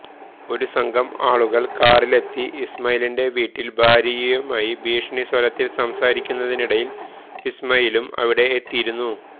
ഒരു സംഘം ആളുകൾ കാറിലെത്തി ഇസ്മായീലീന്റെ വീട്ടിൽ ഭാര്യയുമായി ഭീഷണി സ്വരത്തിൽ സംസാരിക്കുന്നിനിടയിൽ ഇസ്മായീലും അവിടെ എത്തിയിരുന്നു